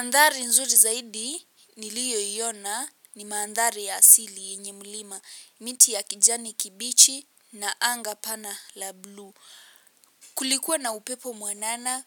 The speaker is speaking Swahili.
Mandhari nzuri zaidi niliyoiona ni mandhari ya asili yenye mlima, miti ya kijani kibichi na anga pana la blue. Kulikuwa na upepo mwanana,